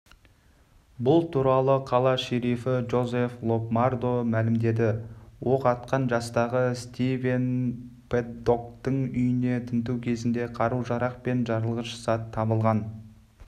бұл туралы қала шерифі джозеф лобмардо мәлімдеді оқ атқан жастағы стивен пэддоктың үйін тінту кезінде қару-жарақ пен жарылғыш зат табылған